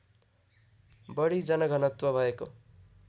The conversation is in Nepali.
बढी जनघनत्व भएको